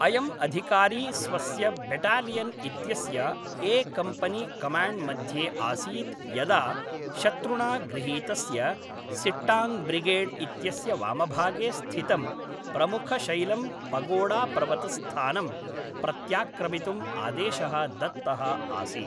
अयं अधिकारी स्वस्य बेटालियन् इत्यस्य ए कम्पनी कमाण्ड्मध्ये आसीत् यदा शत्रुणा गृहीतस्य सिट्टाङ्ब्रिगेड् इत्यस्य वामभागे स्थितं प्रमुखशैलं पगोडापर्वतस्थानं प्रत्याक्रमितुम् आदेशः दत्तः आसीत्।